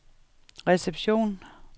reception